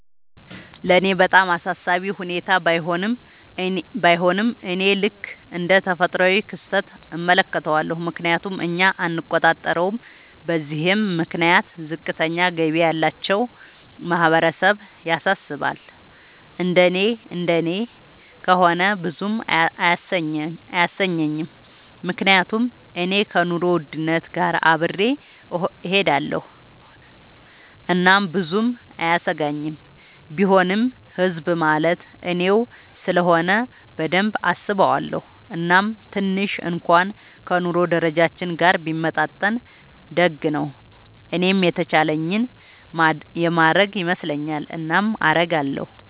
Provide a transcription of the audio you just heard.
ለኔ በጣም አሳሳቢ ሁኔታ ባይሆንም፤ እኔ ልክ እንደ ተፈጥሯዊ ክስተት እመለከተዋለሁ፤ ምክንያቱም እኛ አንቆጣጠረውም። በዚህም ምክንያት ዝቅተኛ ገቢ ያላቸው ማህበረሰብ ያሳስባል፤ እንደኔ እንደኔ ከሆነ ብዙም አያሰኘኝም፤ ምክንያቱም እኔ ከኑሮ ውድነት ጋር አብሬ እሆዳለኹ እናም ብዙም አያሰጋኝም፤ ቢሆንም ህዝብ ማለት እኔው ስለሆነ በደንብ አስበዋለው፤ እናም ትንሽ እንኩዋን ከ ኑሮ ደረጃችን ጋር ቢመጣጠን ደግ ነው። እኔም የተቻለኝን የማረግ ይመስለኛል። እናም አረጋለው።